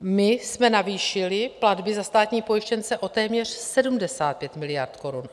My jsme navýšili platby za státní pojištěnce o téměř 75 miliard korun.